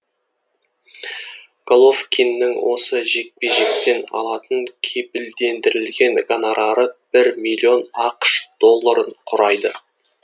головкиннің осы жекпе жектен алатын кепілдендірілген гонорары бір миллион ақш долларын құрайды